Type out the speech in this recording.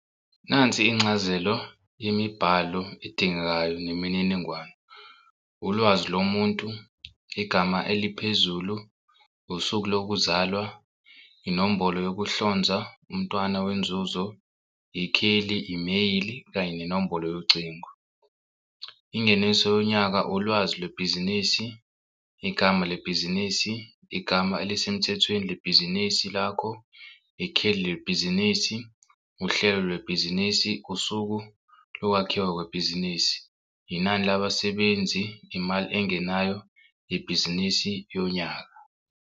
Nansi incazelo imibhalo edingekayo nemininingwane, ulwazi lomuntu, igama eliphezulu, usuku lokuzalwa, inombolo wokuhlonza, umntwana wenzuzo, ikheli, imeyili, kanye nenombolo yocingo. Ingeniso yonyaka, ulwazi lwebhizinisi, igama lebhizinisi, igama elisemthethweni lebhizinisi lakho, ikheli lebhizinisi, uhlelo lwebhizinisi, usuku lokwakhiwa kwebhizinisi, inani labasebenzi, imali engenayo yebhizinisi yonyaka.